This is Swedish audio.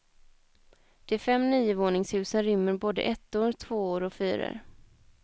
De fem niovåningshusen rymmer både ettor, tvåor och fyror.